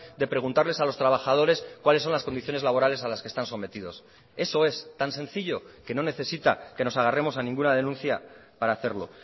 de preguntarles a los trabajadores cuáles son las condiciones laborales a las que están sometidos eso es tan sencillo que no necesita que nos agarremos a ninguna denuncia para hacerlo